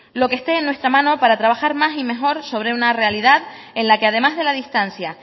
lo que este en nuestra mano para trabajar más y mejor sobre una realidad en la que además de la distancia